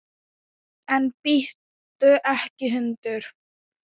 En bíttu ekki, hundur!